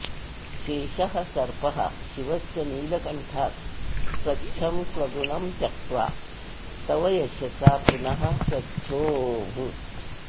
शेषः सर्पः शिवस्य नीलकण्ठात् स्वच्छं स्वगुणं त्यक्त्वा तव यशसा पुनः स्वच्छोऽभूत्